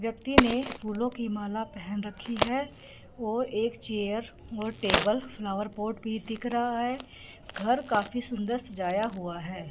व्यक्ति ने फूलों की माला पहन रखी है और एक चेयर और टेबल फ्लावर पॉट भी दिख रहा है घर काफी सुंदर सजाया हुआ है।